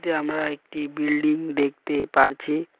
আমরা একটি বিল্ডিং দেখতে পারছি।